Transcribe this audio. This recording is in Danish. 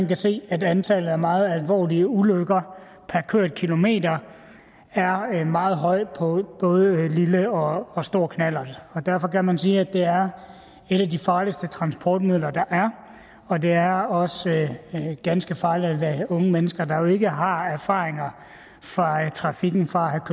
kan se at antallet af meget alvorlige ulykker per kørt kilometer er meget højt på både lille og og stor knallert og derfor kan man sige at det er et af de farligste transportmidler der er det er også ganske farligt at lade unge mennesker der jo ikke har erfaringer fra trafikken fra